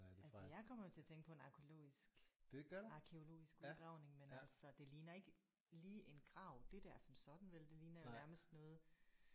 Altså jeg kommer jo til at tænke på en arkæologisk arkæologisk udgravning men altså det ligner ikke lige en grav det der som sådan vel det ligner jo nærmest noget